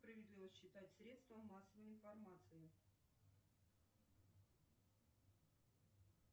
справедливо считать средством массовой информации